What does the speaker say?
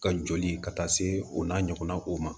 Ka joli ka taa se o n'a ɲɔgɔnnaw ma